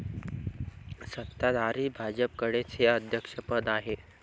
सत्ताधारी भाजपकडेच हे अध्यक्षपद आहे.